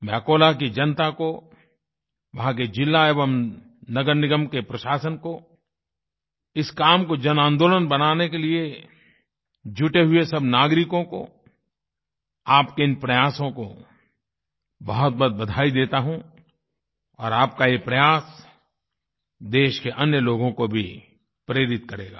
मैं अकोला की जनता को वहाँ के ज़िला एवं नगरनिगम के प्रशासन को इस काम को जनआंदोलन बनाने के लिए जुटे हुए सब नागरिकों को आपके इन प्रयासों को बहुतबहुत बधाई देता हूँ और आप का ये प्रयास देश के अन्य लोगों को भी प्रेरित करेगा